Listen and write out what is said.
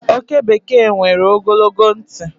oke bekee nwere ogologo ntị